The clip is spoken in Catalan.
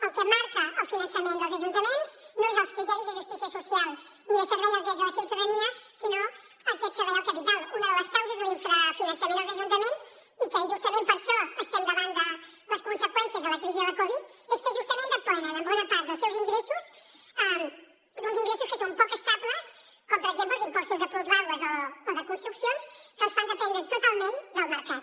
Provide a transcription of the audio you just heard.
el que marca el finançament dels ajuntaments no són els criteris de justícia social ni de servei als drets de la ciutadania sinó aquest servei al capital una de les causes de l’infrafinançament dels ajuntaments i que justament per això estem davant de les conseqüències de la crisi de la covid és que justament depenen en bona part dels seus ingressos d’uns ingressos que són poc estables com per exemple els impostos de plusvàlues o de construccions que els fan dependre totalment del mercat